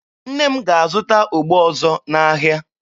Nne m ga-azụta ogbo ọzọ n'ahịa.